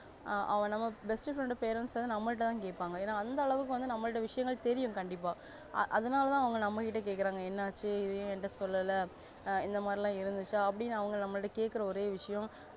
அவ நம்ம best friend parents வந்து ன்னம்மல்டது கேப்பாங்க அந்த அளவுக்கு நம்மள்ட விஷயங்கள் தேரியும் கண்டிப்பா அதனால்த அப்வங்க நம்ம கிட்ட கேக்கறாங்க என்ன ஆச்சி இத ஏன் என்கிட்ட சொல்லல இந்த மாதிரிலா இருந்துச்சா அப்டின்னு அவங்க நம்மள்ட்ட கேக்கர ஒரி விஷயம்